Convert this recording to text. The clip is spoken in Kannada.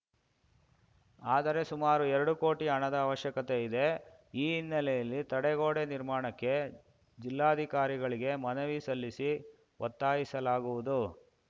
ಆದರೆ ಸುಮಾರು ಎರಡು ಕೋಟಿ ಹಣದ ಅವಶ್ಯಕತೆ ಇದೆ ಈ ಹಿನ್ನೆಲೆಯಲ್ಲಿ ತಡೆಗೋಡೆ ನಿರ್ಮಾಣಕ್ಕೆ ಜಿಲ್ಲಾಧಿಕಾರಿಗಳಿಗೆ ಮನವಿ ಸಲ್ಲಿಸಿ ಒತ್ತಾಯಿಸಲಾಗುವುದು